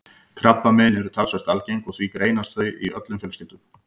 Krabbamein eru talsvert algeng og því greinast þau í öllum fjölskyldum.